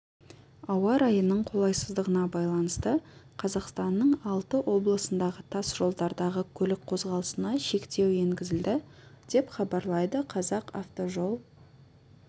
ауа райының қолайсыздығына байланысты қазақстанның алты облысындағы тас жолдардағы көлік қозғалысына шектеу енгізілді деп хабарлайды қазақавтожол